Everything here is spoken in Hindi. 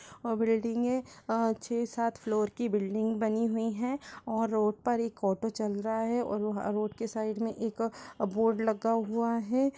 --और बिल्डिंग है अ छ सात फ्लोर की बिल्डिंग बनी हुई है और रोड पर एक ऑटो चल रहा है रोड की साइड में एक बोर्ड लगा हुआ है।